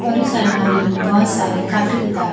और इस अलमारीयो में बहोत सारे कॉपी किताब--